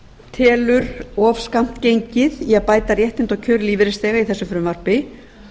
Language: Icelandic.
telur allt of skammt gengið í að bæta réttindi og kjör lífeyrisþega í þessu frumvarpi